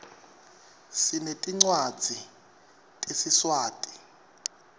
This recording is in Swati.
sinetincwadzi tesiswati